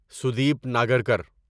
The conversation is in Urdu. سودیپ ناگرکر